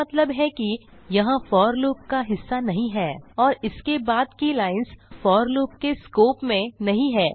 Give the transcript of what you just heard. इसका मतलब है कि यह फोर लूप का हिस्सा नहीं है और इसके बाद की लाइन्स फोर लूप के स्कोप में नहीं हैं